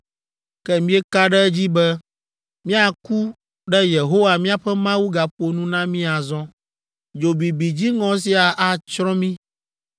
Ke míeka ɖe edzi be míaku ne Yehowa míaƒe Mawu gaƒo nu na mí azɔ. Dzo bibi dziŋɔ sia atsrɔ̃ mí.